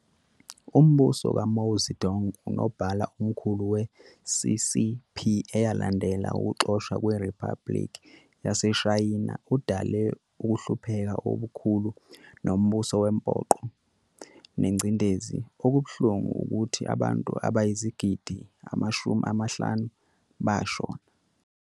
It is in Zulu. Umbuso kaMao Zedong, uNobala oMkhulu we-CCP eyalandela ukuxoshwa kwe-Riphabuliki yaseShayina udale ukuhlupheka obukhulu nombuso wempoqo nencindezelo ulubuhlungu ukuthi abantu abayizigidi amashumi amahlanu bashona.